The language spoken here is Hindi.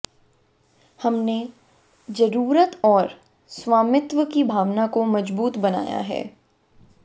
हमने जरूरत और स्वामित्व की भावना को मजबूत बनाया है